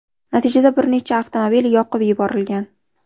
Natijada bir nechta avtomobil yoqib yuborilgan.